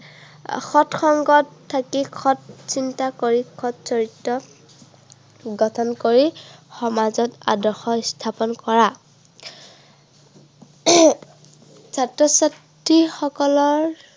সৎ সংগত থাকি, সৎ চিন্তা কৰি, সৎ চৰিত্ৰ গঠন কৰি সমাজত আদৰ্শ স্থাপন কৰা। ছাত্ৰ-ছাত্ৰীসকলৰ